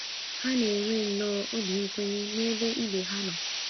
Ha na - enwe nnọọ obi nkwenye n’ebe ibe ha nọ. ”